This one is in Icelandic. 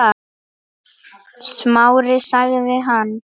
Smári- sagði hann.